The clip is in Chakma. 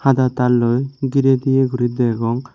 da tarloi girey diye guri degong.